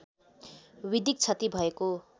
विधिक क्षति भएको